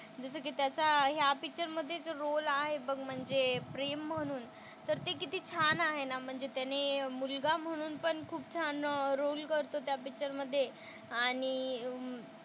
जसं की त्याचा ह्या पिक्चर मधे जो रोल आहे बघ म्हणजे प्रेम म्हणून तर ते किती छान आहे ना. म्हणजे त्याने मुलगा म्हणून पण खूप छान रोल करतो त्या मधे. आणि अं